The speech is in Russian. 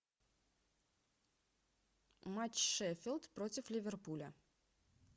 матч шеффилд против ливерпуля